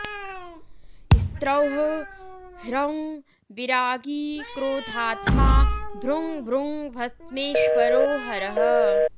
स्त्रौः ह्रौं विरागी क्रोधात्मा भ्रूं भ्रूं भस्मेश्वरो हरः